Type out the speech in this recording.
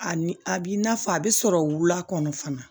A ni a b'i n'a fɔ a bɛ sɔrɔ wula kɔnɔ fana